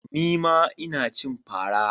Nima Ina cin fara.